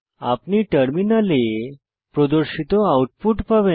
আপনি টার্মিনালে প্রদর্শিত আউটপুট পাবেন